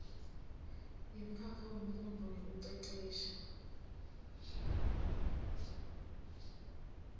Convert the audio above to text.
yemkhakha wemfundvo nekucecesha